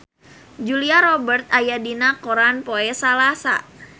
Julia Robert aya dina koran poe Salasa